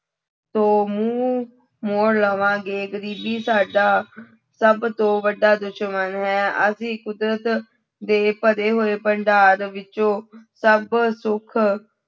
ਤੋਂ ਮੂੰਹ ਮੋੜ ਲਵਾਂਗੇ, ਗ਼ਰੀਬੀ ਸਾਡਾ ਸਭ ਤੋਂ ਵੱਡਾ ਦੁਸ਼ਮਣ ਹੈ ਅਸੀਂ ਕੁਦਰਤ ਦੇ ਭਰੇ ਹੋਏ ਭੰਡਾਰ ਵਿੱਚੋਂ ਸਭ ਸੁੱਖ